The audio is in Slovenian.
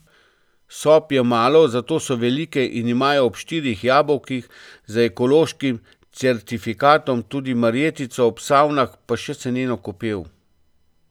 Sob je malo, zato so velike in imajo ob štirih jabolkih, z ekološkim certifikatom, tudi marjetico, ob savnah pa še seneno kopel.